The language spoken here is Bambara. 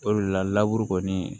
O de la kɔni